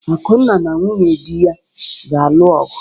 Akunna na nwunye di ya ga-alụ ọgụ.